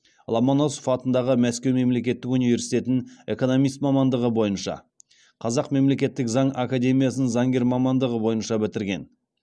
ломоносов атындағы мәскеу мемлекеттік университетін экономист мамандығы бойынша қазақ мемлекеттік заң академиясын заңгер мамандығы бойынша бітірген